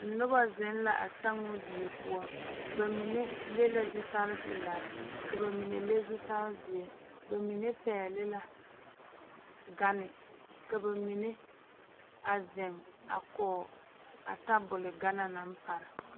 Noba zeŋ la a sammo die poɔ ba mine leŋ la zutarepelaa ka ba mine leŋ zutarezeɛ ba mine pɛgle la gane ka ba mine a zeŋ a kɔge a tabol gane na naŋ pare.